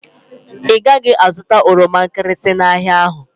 Ị gaghị azụta oroma nkịrịsị n'ahịa ahụ